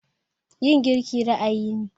Yin girki ra'ayi ne.